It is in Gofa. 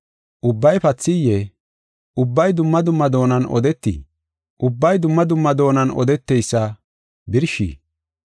Ubbay pathiyee? Ubbay dumma dumma doonan odeetii? Ubbay dumma dumma doonan odetoysa birshii?